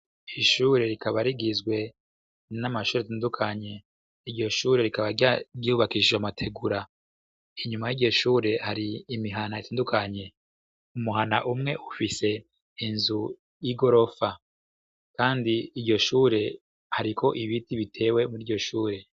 Ishure rikaba rigizwe namashure atandukanye .Iryo shure rikaba ryubakishijwe amategura inyuma yiryo shure hari imihani itandukanye :umuhana umwe ufise inzu y'igorofa kandi iryo shure hariko ibindi bitewe kwiryo shure.